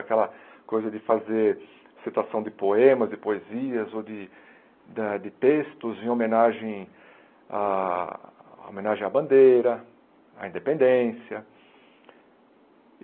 Aquela coisa de fazer citação de poemas, de poesias ou de da de textos em homenagem à homenagem à bandeira, à independência.